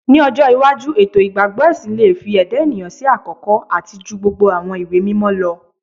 Ni ojo iwaju eto igbagbọ ẹsin le fi ẹda eniyan si akọkọ ati ju gbogbo awọn iwe-mimọ lọ